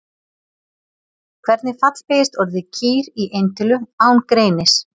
Hvernig fallbeygist orðið kýr í eintölu án greinis?